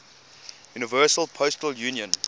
universal postal union